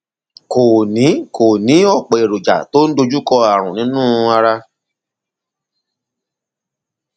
kò ní kò ní ọpọ èròjà tó ń dojúkọ ààrùn nínú ara